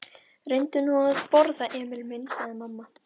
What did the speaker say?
Reyndu nú að borða, Emil minn, sagði mamma.